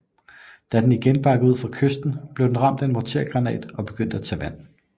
Da den igen bakkede ud fra kysten blev den ramt af en mortergranat og begyndte at tage vand